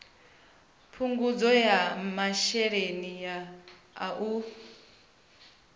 phungudzo ya masheleni a u